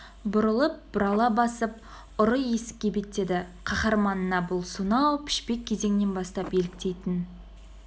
бұрылып бұрала басып ұры есікке беттеді қаһарманына бұл сонау пішпек кезеңінен бастап еліктейтін